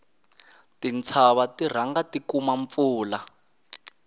tintshava ti rhanga ti kuma mpfula